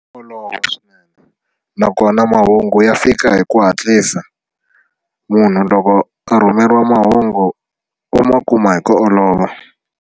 Olova swinene nakona mahungu ya fika hi ku hatlisa munhu loko a rhumeriwa mahungu u ma kuma hi ku olova.